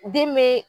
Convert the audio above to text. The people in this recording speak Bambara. Den be